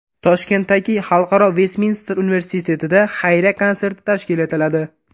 Toshkentdagi Xalqaro Vestminster universitetida xayriya konserti tashkil etiladi.